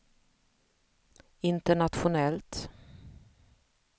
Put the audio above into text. internationellt